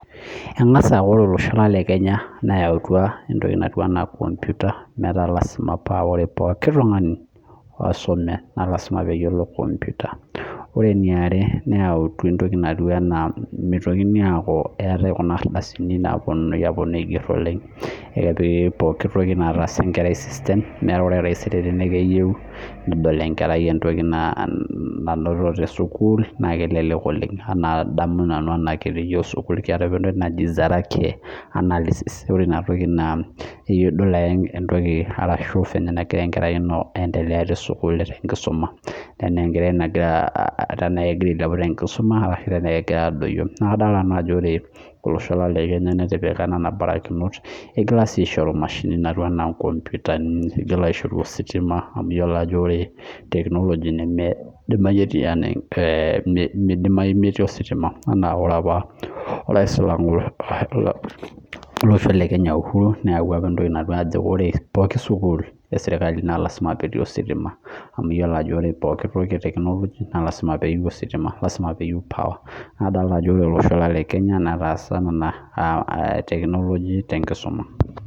Engasaorw olosho lang lekenya neyautua nkomputa metaa ore pooki tungani oisume nalasima peyiolo komputa lre eniare mekute eetae kuna ardasini naigeri oleng na keyieu nedol enkerai entoki nainoto tesukul nakelelek oleng anaa adamu nanu anaa ore kitii sukul keetae entoki naji sarake na idiol ake entoki ana enegira enkerai ino aendelea tesukul tenkisuma naa enkerai nagira aendelea tenkisuma wenagira adoyio na adolita naa ajo ore olosho lang le kenya natipika mbarikinot naigil aishoru ositima nimidimayi metii ositima ore orais le kenya uhuru kenyata neyau apa ore pooki sukul na lasima petii ositima nadolita ajo ore olosho lang lekenya neetaea ina technology tositima